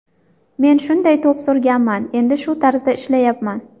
Men shunday to‘p surganman, endi shu tarzda ishlayapman.